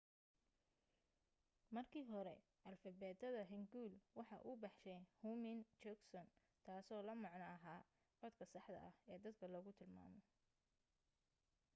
markii hore alifbeetada hangeul waxa uu baxshay hunmin jeongeum taaso la macno aha codka saxda ah ee dadka lagu tilmaamo.